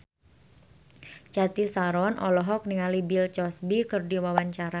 Cathy Sharon olohok ningali Bill Cosby keur diwawancara